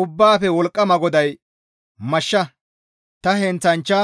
«Ubbaafe Wolqqama GODAY, ‹Mashsha! Ta heenththanchcha